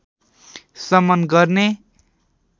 शमन गर्ने